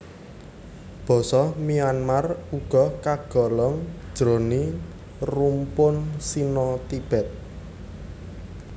Basa Myuanmar uga kagolong jroning rumpun Sino Tibet